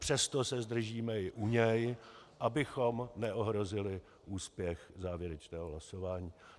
Přesto se zdržíme i u něj, bychom neohrozili úspěch závěrečného hlasování.